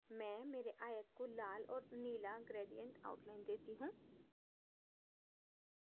मैं मेरे आयत को लाल और नीला gradient outline देती हूँ